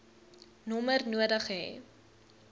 nommer nodig hê